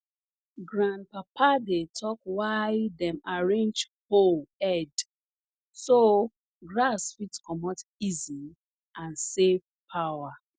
grandpapa dey talk why dem arrange hoe head so grass fit comot easy and save power